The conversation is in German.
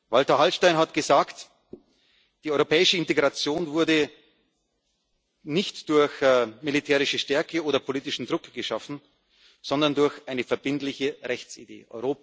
Walter Hallstein hat gesagt Die europäische Integration wurde nicht durch militärische Stärke oder politischen Druck geschaffen, sondern durch eine verbindliche Rechtsidee.